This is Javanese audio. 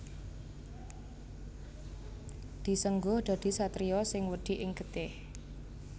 Disengguh dadi satriya sing wedi ing getih